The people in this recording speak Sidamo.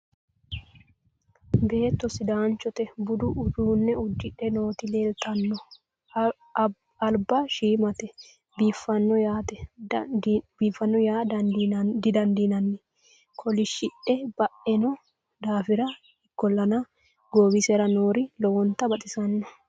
beetto sidaanchote budu uduunne udidhe nooti leeltanno lba shiimate biiffanno yaa didandiinanni kolishshidhe baino daafira ikkollana goowisera noori lowonta baxisanno